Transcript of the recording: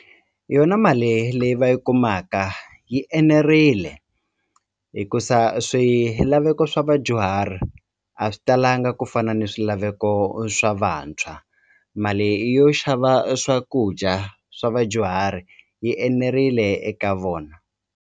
Yona mali leyi va yi kumaka yi enerile hikusa swilaveko swa vadyuhari a swi talanga ku fana ni swilaveko swa vantshwa mali yo xava swakudya swa vadyuhari yi enerile eka vona.